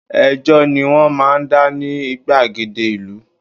Ẹjọ́ ni wọ́n máa ń dá ní gbàgede ìlú